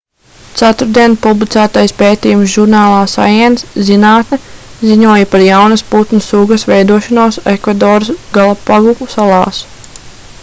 ceturtdien publicētais pētījums žurnālā science zinātne ziņoja par jaunas putnu sugas veidošanos ekvadoras galapagu salās